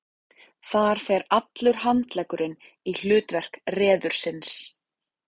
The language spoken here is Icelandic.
Þar fer allur handleggurinn í hlutverk reðursins.